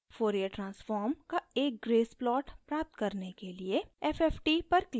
fourier transform का एक grace plot प्राप्त करने के लिए fft पर click करें